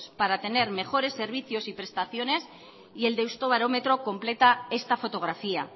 para tener mejores servicios y prestaciones y el deustobarómetro completa esta fotografía